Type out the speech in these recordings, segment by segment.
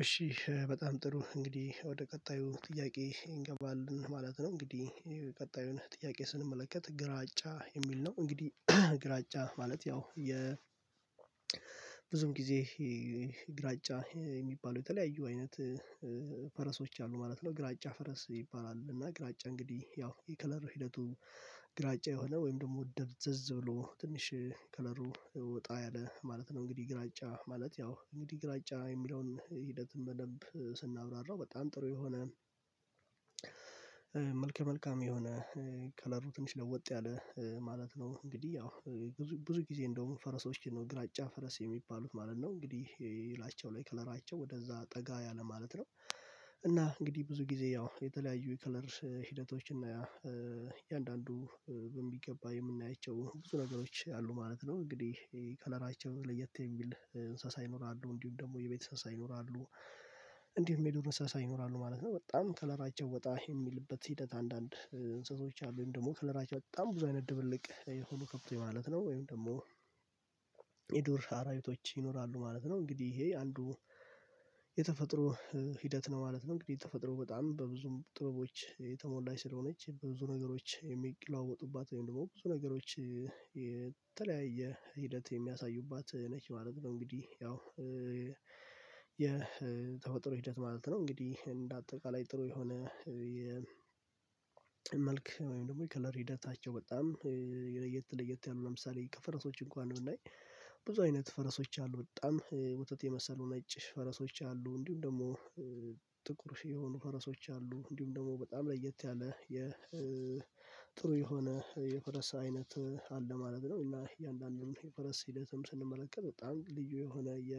እሺ በጣም ጥሩ እንግዲህ ወደ ቀጣዩ ጥያቄ እንገባለን ማለት ነው እንግዲህ ቀጣዩን ጥያቄ ስንመለከት ግራጫ የሚል ነው እንግዲህ ግራጫ ማለት ያው የብዙም ጊዜ ግራጫ የሚባለው የተለያዩ አይነት ፈረሶች አሉ ማለት ነው ግራጫ ፈረስ ይባላል እና ግራጫ እንግዲህ ያው የከለር ሂደቱ ግራጫ የሆነ ወይም ደግሞ ደብዘዝ ብሎ ትንሽ ከለሩ ወጣ ያለ ማለት ነው እንግዲህ ግራጫ ማለት ያው እንግዲህ ግራጫ የሚለውን ሂደት በደንብ ስናብራራው በጣም ጥሩ የሆነ መልከ መልካም የሆነ ከለሩ ትንሽ ለወጥ ያለ ማለት ነው እንግዲህ ያው ብዙ ጊዜ እንደውም ፈረሶችን ነው ግራጫ ፈረስ የሚባሉት ማለት ነው እንግዲህ ላያቸው ላይ ከለራቸው ወደዛ ጠጋ ያለ ማለት ነው እና እንግዲህ ብዙ ጊዜ ያው የተለያዩ የከለር ሂደቶች እና እያንዳንዱ በሚገባ የምናያቸው ብዙ ነገሮች አሉ ማለት ነው እንግዲህ ከለራቸው ለየት የሚል እንስሳ ይኖራሉ እንዲሁም ደግሞ የቤተሰብ እንስሳ ይኖራሉ እንዲሁም የዱር እንስሳ ይኖራሉ ማለት ነው በጣም ከለራቸው ወጣ የሚልበት ሂደት አንዳንድ እንስሳዎች አሉ ደግሞ ከለራቸው በጣም ብዙ አይነት ድብልቅ የሆኑ ከብቶች ማለት ነው ወይም ደግሞ የዱር አራዊቶች ይኖራሉ ማለት ነው እንግዲህ ይሄ አንዱ የተፈጥሮ ሂደት ነው ማለት ነው እንግዲህ የተፈጥሮ በጣም በብዙ ጥበቦች የተሞላች ስለሆነች በብዙ ነገሮች የሚለዋወጡባት ወይም ደግሞ ብዙ ነገሮች ሂደት የሚያሳዩባት ነኝ ማለት ነው እንግዲህ ያው የተፈጥሮ ሂደት ማለት ነው እንግዲህ እንደ አጠቃላይ ጥሩ የሆነ የመልክ ወይም ደግሞ የከለር ሂደታቸው በጣም ለየት ለየት ያሉ ለምሳሌ ከፈረሶች እንኳን ብናይ ብዙ አይነት ፈረሶች አሉ በጣም ወተት የመሰሉ ነጭ ፈረሶች አሉ እንዲሁም ደግሞ ጥቁር የሆኑ ፈረሶች አሉ እንዲሁም ደግሞ በጣም ለየት ያለ የጥሩ የሆነ የፈረስ አይነት አለ ማለት ነው እና እያንዳንዱን የፈረስ ሂደትም ስንመለከት በጣም ልዩ የሆነ የ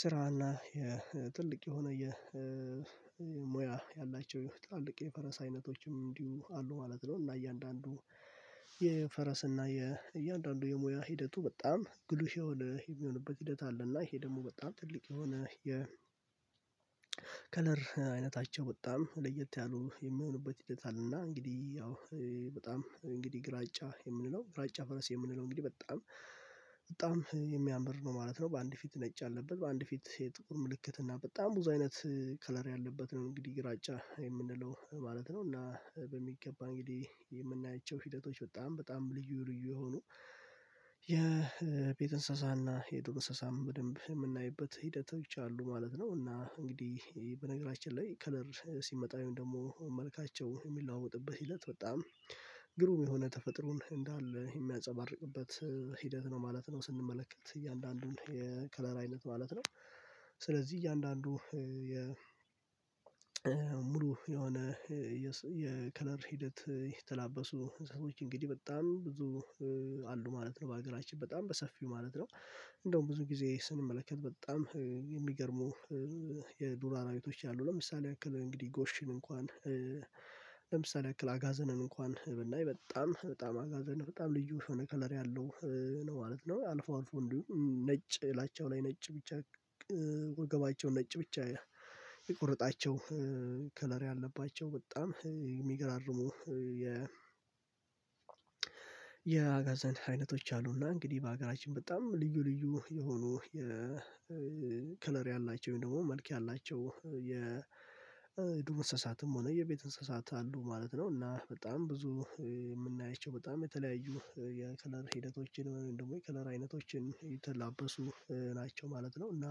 ስራና የጥልቅ የሆነ ሙያ ያላቸው ትላልቅ የፈረስ አይነቶችም እንዲሁ አሉ ማለት ነው እና እያንዳንዱ የፈረስ እና የእያንዳንዱ የሙያ ሂደቱ በጣም ግሉሽ የሆነ የሚሆንበት ሂደት አለ እና ይሄ ደግሞ በጣም ትልቅ የሆነ የ ከለር አይነታቸው በጣም ለየት ያሉ የምሆንበት ሂደት አለና እንግዲህ ያው በጣም እንግዲህ ግራጫ የምንለው ግራጫ ፈረስ የምንለው እንግዲህ በጣም በጣም የሚያምር ነው ማለት ነው በአንድ ፊት ነጭ ያለበት በአንድ ፊት የጥቁር ምልክት እና በጣም ብዙ አይነት ከለር ያለበት ነው እንግዲህ ግራጫ የምንለው ማለት ነው እና በሚገባ እንግዲህ የምናያቸው ሂደቶች በጣም በጣም ልዩ ልዩ የሆኑ የቤት እንስሳና የዱር እንስሳም በደንብ የምናይበት ሂደቶች አሉ ማለት ነው እና እንግዲህ በነገራችን ላይ ከለር ሲመጣ ወይም ደግሞ መልካቸው የሚለዋወጥበት ሂደት በጣም ግሩም የሆነ ተፈጥሮን እንዳለ የሚያንፀባርቅበት ሂደት ነው ማለት ነው ስንመለከት እያንዳንዱን የከለር አይነት ማለት ነው ስለዚህ እያንዳንዱ የሙሉ የሆነ የከለር ሂደት የተላበሱ ህዝቦች እንግዲህ በጣም ብዙ አሉ ማለት ነው በሀገራችን በጣም በሰፊው ማለት ነው እንደውም ብዙ ጊዜ ስንመለከት በጣም የሚገርሙ የዱር አራዊቶች አሉ ለምሳሌ ያክል እንግዲህ ጎሽን እንኳን ለምሳሌ ያክል አጋዘንን እንኳን ብናይ በጣም በጣም አጋዘን በጣም ልዩ ከሆነ ከለር ያለው ነው ማለት ነው አልፎ አልፎ እንዲሁ ነጭ ላያቸው ላይ ነጭ ብቻ ወገባቸው ነጭ ብቻ የቆረጣቸው ከለሪ ያለባቸው በጣም የሚገራርሙ የ የአጋዛን አይነቶች አሉና እንግዲህ በሀገራችን በጣም ልዩ ልዩ የሆኑ የከለር ያላቸው ወይም ደግሞ መልክ ያላቸው የዱር እንስሳትም ሆነ የቤት እንስሳት አሉ ማለት ነው እና በጣም ብዙ የምናያቸው በጣም የተለያዩ የከለር ሂደቶችን ወይም ደግሞ የከለር አይነቶችን የተላበሱ ናቸው ማለት ነው እና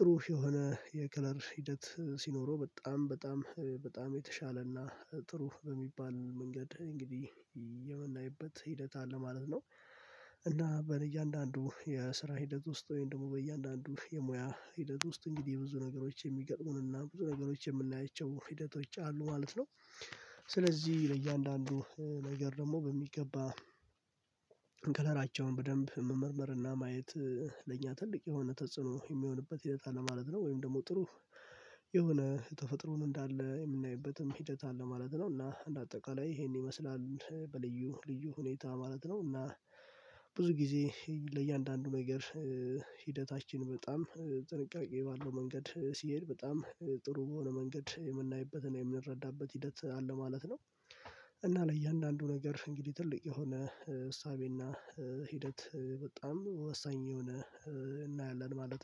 ጥሩ የሆነ የከለር ሂደት ሲኖረው በጣም በጣም በጣም የተሻለና ጥሩ በሚባል መንገድ እንግዲህ የምናይበት ሂደት አለ ማለት ነው እና በእያንዳንዱ የስራ ሂደት ውስጥ ወይም ደግሞ በእያንዳንዱ የሙያ ሂደት ውስጥ እንግዲህ ብዙ ነገሮች የሚገጥሙንና ብዙ ነገሮች የምናያቸው ሂደቶች አሉ ማለት ነው ስለዚህ ለእያንዳንዱ ነገር ደግሞ በሚገባ ከለራቸውን በደንብ መመርመር እና ማየት ለእኛ ትልቅ የሆነ ተጽዕኖ የሚሆንበት ሂደት አለ ማለት ነው ወይም ደግሞ ጥሩ የሆነ ተፈጥሮን እንዳለ የምናይበትም ሂደት አለ ማለት ነው እና እንደ አጠቃላይ ይሄን ይመስላል በልዩ ልዩ ሁኔታ ማለት ነው እና ብዙ ጊዜ ለእያንዳንዱ ነገር ሂደታችን በጣም ጥንቃቄ ባለው መንገድ ሲሄድ በጣም ጥሩ በሆነ መንገድ የምናይበትና የምንረዳበት ሂደት አለ ማለት ነው፤ እና ለእያንዳንዱ ነገር እንግዲህ ትልቅ የሆነ እሳቤና ሂደት በጣም ወሳኝ የሆነ እናያለን ማለት ነው።